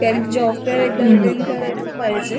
Job fair एकदा attend करायलाच पाहिजे.